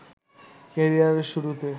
ক্যারিয়ারের শুরুতে